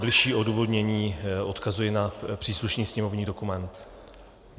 Bližší odůvodnění: odkazuji na příslušný sněmovní dokument.